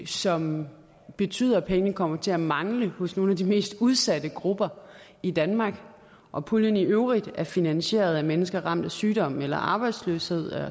som betyder at pengene kommer til at mangle hos nogle af de mest udsatte grupper i danmark og puljen i øvrigt er finansieret af mennesker ramt af sygdom eller arbejdsløshed